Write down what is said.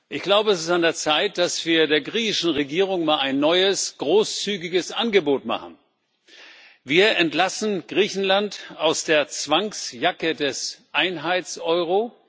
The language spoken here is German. Ich glaube, es ist an der Zeit, dass wir der griechischen Regierung mal ein neues, großzügiges Angebot machen Wir entlassen Griechenland aus der Zwangsjacke des Einheitseuro.